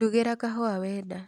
ndungira kahuwa wenda